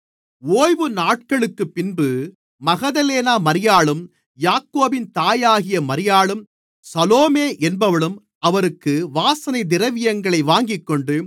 ஓய்வுநாளுக்குப்பின்பு Magdalene மரியாளும் யாக்கோபின் தாயாகிய மரியாளும் சலோமே என்பவளும் அவருக்கு வாசனைத் திரவியங்களை வாங்கிக்கொண்டு